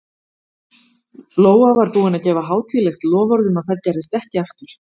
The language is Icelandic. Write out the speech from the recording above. Lóa var búin að gefa hátíðlegt loforð um að það gerðist ekki aftur.